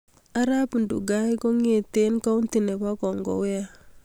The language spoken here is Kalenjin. Arap Ndugai kongetegei kounti nebo kongowa